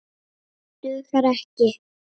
Dugar ekki!